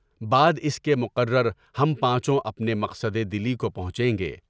بعد اس کے مقررہ ہم پانچوں اپنے مقصدِ دلی کو پہنچیں گے۔